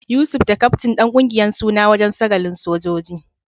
Yusuf da kaftin dan kungiyar suna wajen sagalin sojoji.